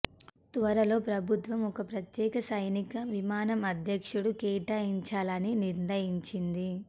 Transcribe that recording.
త్వరలో ప్రభుత్వం ఒక ప్రత్యేక సైనిక విమానం అధ్యక్షుడు కేటాయించాలని నిర్ణయించింది